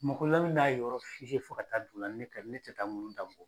Mɔgɔ la min b'a yɔrɔ f'i ye fo ka taa dugu la ne tɛ taa mun ta fɔ.